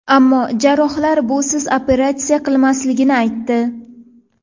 Ammo jarrohlar busiz operatsiya qilinmasligini aytdi.